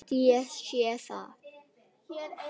Þótt ég sé sek.